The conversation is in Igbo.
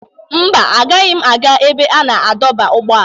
Mba, agaghị m aga ebe a na-adọba ụgbọala.